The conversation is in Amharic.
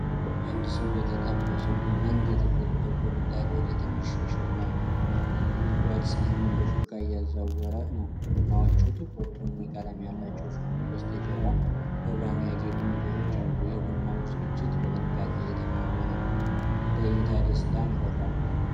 አንድ ሰው የተጠበሰ ቡናን ከትልቅ ጥቁር ምጣድ ወደ ትንሽ የሸክላ ጎድጓዳ ሳህን በሹካ እያዛወረ ነው። ቡናዎቹ ጥቁር ቡኒ ቀለም ያላቸው ሲሆኑ፣ በስተጀርባ በብርሃን ያጌጡ ነገሮች አሉ። የቡናው ዝግጅት በጥንቃቄ እየተከናወነ ነው። ለእይታ ደስታን ይፈጥራል።